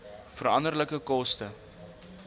veranderlike koste